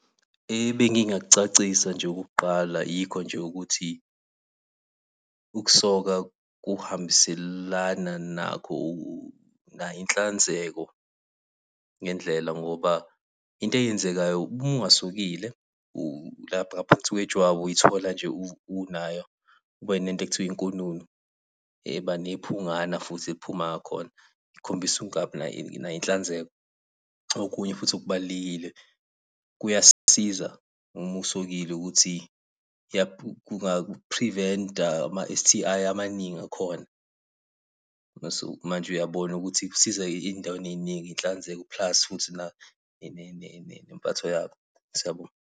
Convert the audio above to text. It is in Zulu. Ebengingakucacisa nje okokuqala yikho nje ukuthi, ukusoka kuhambiselana nakho , nayo inhlanzeko ngendlela ngoba, into eyenzekayo uma ungasokile lapha ngaphansi kwejwabu uy'thola nje unayo, ube nento ekuthiwa inkununu, eba nephungana futhi eliphuma ngakhona, ikhombisa ukungabi nayo inhlanzeko. Okunye futhi okubalulekile kuyasiza uma usokile ukuthi uku-prevent-a ama-S_T_I amaningi akhona. Mase manje uyabona ukuthi kusiza ey'ndaweni ey'ningi inhlanzeko plus futhi nempatho yakho. Siyabonga.